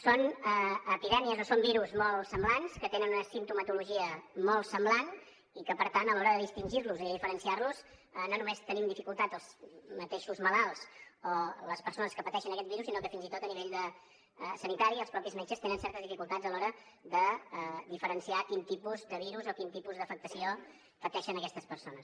són epidèmies o són virus molt semblants que tenen una simptomatologia molt semblant i que per tant a l’hora de distingir los i de diferenciar los no només tenim dificultat els mateixos malalts o les persones que pateixen aquest virus sinó que fins i tot a nivell sanitari els mateixos metges tenen certes dificultats a l’hora de diferenciar quin tipus de virus o quin tipus d’afectació pateixen aquestes persones